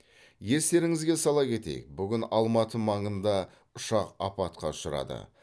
естеріңізге сала кетейік бүгін алматы маңында ұшақ апатқа ұшырады